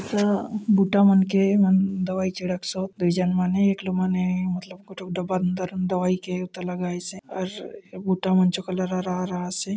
स भुट्टा मन के ए मन दवई छिड़क सोत दवई के त लगाइस हे और भुटा मन चो कलर हरा-हरा आसे।